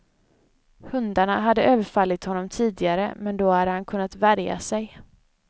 Hundarna hade överfallit honom tidigare, men då hade han kunnat värja sig.